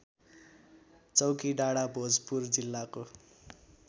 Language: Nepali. चौकीडाँडा भोजपुर जिल्लाको